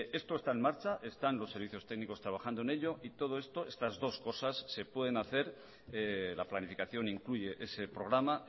esto está en marcha están los servicios técnicos trabajando en ello y todo esto estas dos cosas se pueden hacer la planificación incluye ese programa